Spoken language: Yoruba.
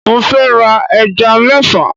Mo fẹ́ ra ẹja mẹ́fà.